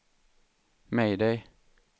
mayday